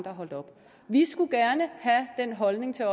er holdt op vi skulle gerne have den holdning til